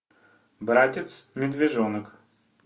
братец медвежонок